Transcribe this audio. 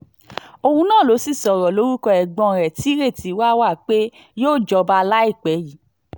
òun náà ló sì sọ̀rọ̀ lórúkọ ẹ̀gbọ́n ẹ̀ tí ìrètí wà wà pé yóò jọba láìpẹ́ yìí